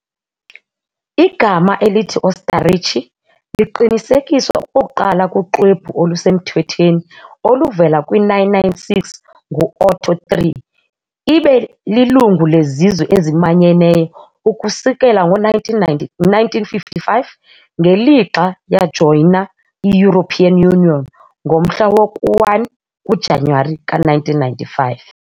Igama elithi "Ostarrichi" liqinisekiswa okokuqala kuxwebhu olusemthethweni oluvela kwi-996 ngu-Otto III . Ibe lilungu leZizwe eziManyeneyo ukusukela ngo-1955 ngelixa yajoyina i -European Union ngomhla woku-1 kuJanuwari ka-1995.